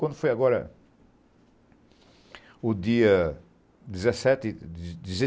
Quando foi agora o dia dezessete...